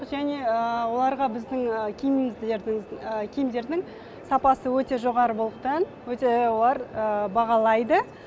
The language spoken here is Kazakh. және оларға біздің киімдердің сапасы өте жоғары болғандықтан өте олар бағалайды